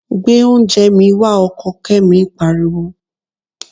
Gbé oúnjẹ mi wá! Ọkọ Kẹ́mi pariwo.